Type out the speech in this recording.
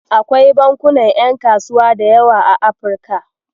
Akwai bankunan ƴan kasuwa da yawa a Afrika.